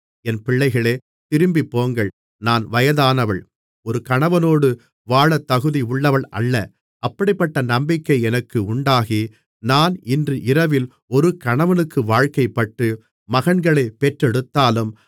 என் பிள்ளைகளே திரும்பிப்போங்கள் நான் வயதானவள் ஒரு கணவனோடு வாழத் தகுதியுள்ளவள் அல்ல அப்படிப்பட்ட நம்பிக்கை எனக்கு உண்டாகி நான் இன்று இரவில் ஒரு கணவனுக்கு வாழ்க்கைப்பட்டு மகன்களைப் பெற்றெடுத்தாலும்